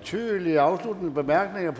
betydelig afsluttende bemærkning